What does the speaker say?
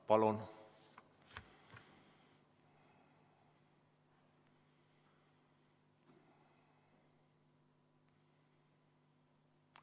Palun!